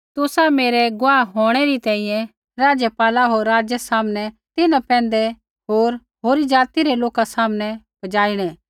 तुसा मेरै गुआह होंणै री तैंईंयैं राज्यपाला होर राज़ै सामनै तिन्हां पैंधै होर होरी ज़ाति रै लोका सामनै पजाइणै